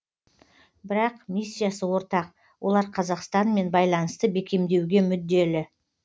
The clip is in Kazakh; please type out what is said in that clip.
бірақ миссиясы ортақ олар қазақстанмен байланысты бекемдеуге мүдделі